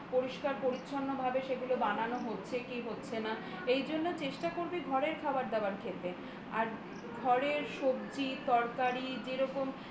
পরিষ্কার পরিচ্ছন্নভাবে সেগুলো বানানো হচ্ছে কি হচ্ছে না এই জন্য চেষ্টা করবি ঘরের খাবার দাবার খেতে ঘরের সবজি তরকারি যে রকম